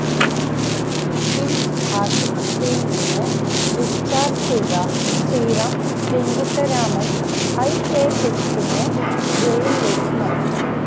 കിംസ് ആശുപത്രിയില് നിന്ന് ഡിസ്ചാര്ജ് ചെയ്ത ശ്രീറാം വെങ്കിട്ടരാമന് ഐഎഎസിനെ ജയിലിലേക്ക് മാറ്റി